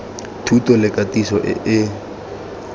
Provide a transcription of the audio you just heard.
thuto le katiso e e